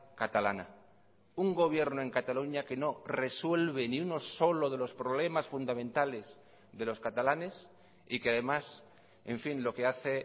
catalana un gobierno en cataluña que no resuelve ni uno solo de los problemas fundamentales de los catalanes y que además en fin lo que hace